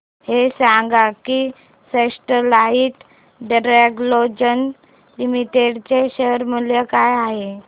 हे सांगा की स्टरलाइट टेक्नोलॉजीज लिमिटेड चे शेअर मूल्य काय आहे